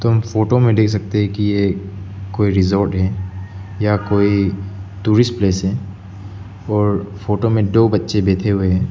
हम फोटो में दे सकते हैं कि यह कोई रिजॉर्ट है या कोई टूरिस्ट प्लेस है और फोटो में डो बच्चे बैठे हुए हैं।